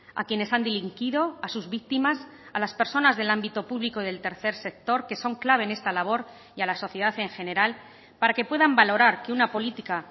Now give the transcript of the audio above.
a quienes han delinquido a sus víctimas a las personas del ámbito público del tercer sector que son clave en esta labor y a la sociedad en general para que puedan valorar que una política